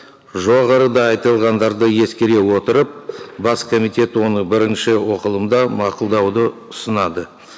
жоғарыда айтылғандарды ескере отырып бас комитет оны бірінші оқылымда мақұлдауды ұсынады